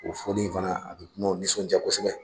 O fɔli in fana a bɛ dunanw nisɔn diya kosɛbɛ